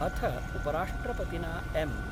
अथ उपराष्ट्रपतिना एम .